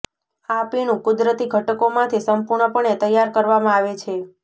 આ પીણું કુદરતી ઘટકો માંથી સંપૂર્ણપણે તૈયાર કરવામાં આવે છે